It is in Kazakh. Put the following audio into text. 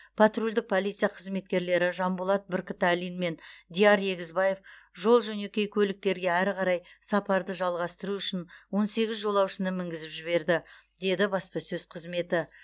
патрульдік полиция қызметкерлері жанболат бүркітәлин мен диар егізбаев жол жөнекей көліктерге әрі қарай сапарды жалғастыру үшін он сегіз жолаушыны мінгізіп жіберді деді баспасөз қызметі